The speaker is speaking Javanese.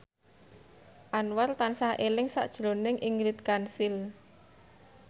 Anwar tansah eling sakjroning Ingrid Kansil